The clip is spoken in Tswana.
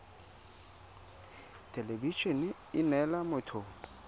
thelebi ene e neela motho